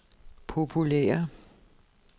populære